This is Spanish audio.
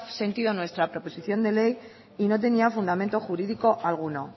sentido nuestra proposición de ley y no tenía fundamento jurídico alguno